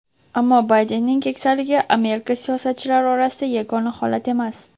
Ammo Baydenning keksaligi Amerika siyosatchilari orasida yagona holat emas.